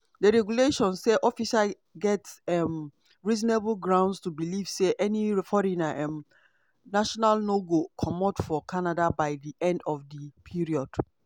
di regulations say officer get um reasonable grounds to believe say any foreign um national no go comot for canada by di end of di period